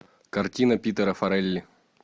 картина питера фаррелли